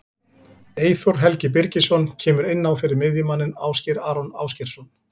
Eyþór Helgi Birgisson kemur inn á fyrir miðjumanninn Ásgeir Aron Ásgeirsson.